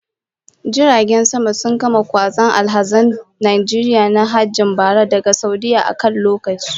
Jiragen sama sun gama kwazo alhazan Najeriya na hajjin bara daga Saudiyyah a kan lokaci